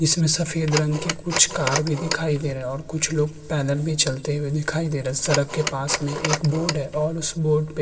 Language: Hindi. इसमें सफ़ेद रंग के कुछ कार भी दिखाई दे रहे हैं और कुछ लोग पैदल भी चलते हुए दिखाई दे रहे हैं। सरक के पास में एक बोर्ड है और उस बोर्ड पे --